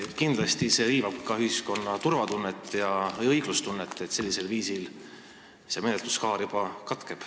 Kindlasti riivab see ühiskonna turvatunnet ja õiglustunnet, kui see menetluskaar sellisel viisil katkeb.